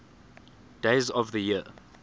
days of the year